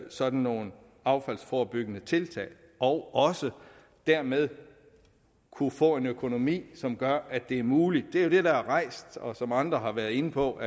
sådan nogle affaldsforebyggende tiltag og også dermed kunne få en økonomi som gør at det er muligt det er jo det der er rejst og som andre har været inde på